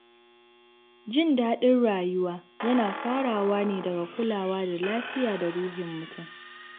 Jin daɗin rayuwa yana farawa ne daga kulawa da lafiya da ruhin mutum.